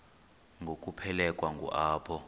ngokuphelekwa ngu apho